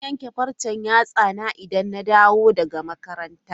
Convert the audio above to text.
Zan yanke farcen yatsana idan na dawo daga makaranta.